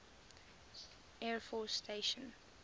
air force station